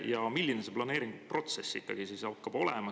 Ja milline see planeeringuprotsess ikkagi hakkab olema?